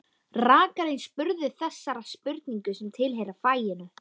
Rakarinn spurði þessara spurninga sem tilheyra faginu: